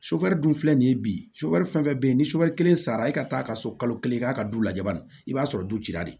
dun filɛ nin ye bi fɛn fɛn bɛ yen ni soboli kelen sara e ka taa ka se kalo kelen k'a ka du lajɛ banani i b'a sɔrɔ du cira de